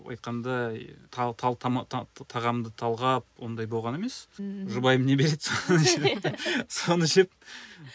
айтқандай тағамда талғап ондай болған емес ммм жұбайым не береді соны жеп соны жеп